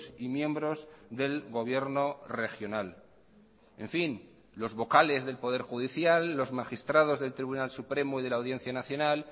y miembros del gobierno regional en fin los vocales del poder judicial los magistrados del tribunal supremo y de la audiencia nacional